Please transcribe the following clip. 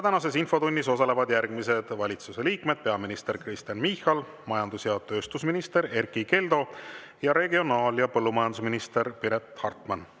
Tänases infotunnis osalevad järgmised valitsuse liikmed: peaminister Kristen Michal, majandus‑ ja tööstusminister Erkki Keldo ning regionaal‑ ja põllumajandusminister Piret Hartman.